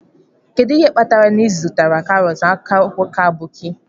Kedu ihe kpatara na ị zụtaghị karọt n'aka nwoke aboki?